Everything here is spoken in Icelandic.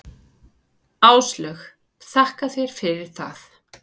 Áslaug: Þakka þér fyrir það.